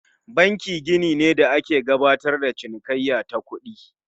Banki gini ne da ake gabatar da cinikayya ta kuɗi